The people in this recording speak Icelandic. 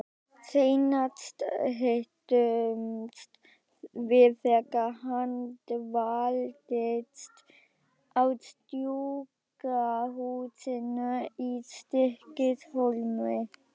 Seinast hittumst við þegar hann dvaldist á sjúkrahúsinu í Stykkishólmi.